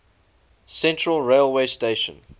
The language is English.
central railway station